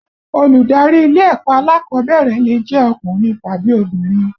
Olùdarí ilé ẹ̀kọ́ alákọ̀ọ́bẹ̀rẹ̀ lè jẹ́ ọkùnrin tàbí obìnrin